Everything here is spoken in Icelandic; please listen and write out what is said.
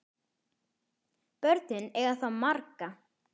Börnin eiga þá marga